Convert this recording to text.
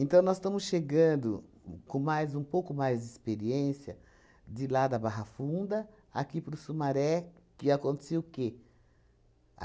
nós estamos chegando com mais, um pouco mais de experiência de lá da Barra Funda, aqui para o Sumaré, que acontecia o quê?